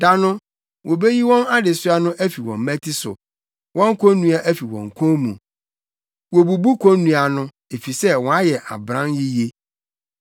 Da no wobeyi wɔn adesoa no afi wɔn mmati so wɔn konnua afi wo kɔn mu; wobubu konnua no efisɛ woayɛ ɔbran yiye.